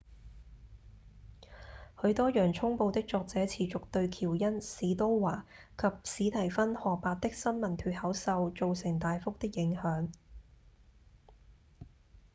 許多《洋蔥報》的作者持續對喬恩・史都華及史蒂芬・荷伯的新聞脫口秀造成大幅的影響